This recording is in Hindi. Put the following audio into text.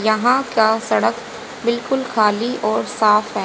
यहां का सड़क बिल्कुल खाली और साफ है।